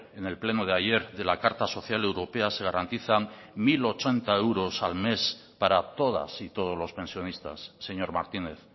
en el pleno de ayer de la carta social europea se garantizan mil ochenta euros al mes para todas y todos los pensionistas señor martínez